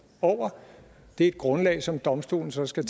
over det er et grundlag som domstolen så skal